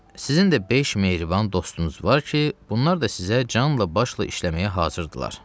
Sizin də beş mehriban dostunuz var ki, bunlar da sizə canla başla işləməyə hazırdırlar.